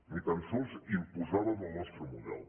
ni tan sols imposàvem el nostre model